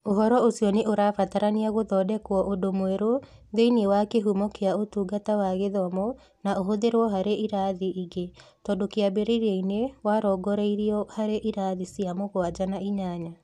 Ũhoro ũcio nĩ ũrabatarania gũthondekwo ũndũ mwerũ thĩinĩ wa kĩhumo kĩa Ũtungata wa Gĩthomo na ũhũthĩrũo harĩ irathi ingĩ, tondũ kĩambĩrĩria-inĩ warongoreirio harĩ irathi cia mũgwanja na inyanya.